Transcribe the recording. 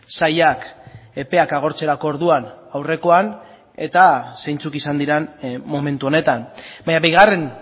sailak epeak agortzerako orduan aurrekoan eta zeintzuk izan diren momentu honetan baina bigarren